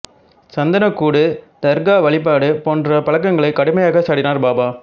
சந்தன கூடு தர்கா வழிபாடு போன்ற பழக்கங்களை கடுமையாக சாடினார் பாபா